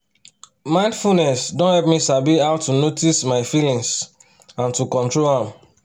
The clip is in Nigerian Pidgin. mindfulness don help me sabi how to notice my feelings and to control am